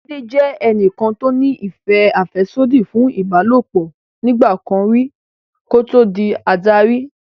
Láídé jẹ́ ẹni tó ní ìfẹ́ àfẹ́sódì fún ìbálòpọ̀ nígbà kan rí kí ó tó di adarí